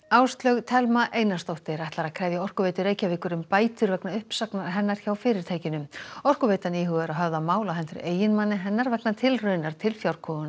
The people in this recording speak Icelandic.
Áslaug Thelma Einarsdóttir ætlar að krefja Orkuveitu Reykjavíkur um bætur vegna uppsagnar hennar hjá fyrirtækinu Orkuveitan íhugar að höfða mál á hendur eiginmanni hennar vegna tilraunar til